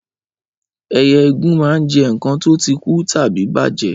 Ẹyẹ igún máa ń jẹ nǹkan tó ti kú tàbí bàjẹ́